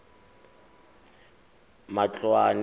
matloane